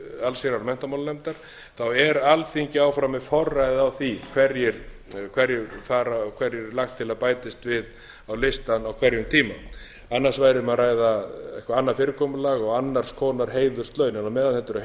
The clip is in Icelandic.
allsherjar og menntamálanefndar er alþingi áfram með forræðið á því hverjir fara og hverju er lagt til að bætist við á listann á hverjum tíma annars væri um að ræða eitthvað annað fyrirkomulag og annars konar heiðurslaun á meðan þetta eru heiðurslaun